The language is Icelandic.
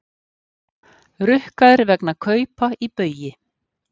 Rukkaðir vegna kaupa í Baugi